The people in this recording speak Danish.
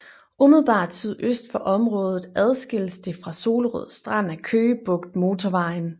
Umiddelbart sydøst for området adskilles det fra Solrød Strand af Køge Bugt Motorvejen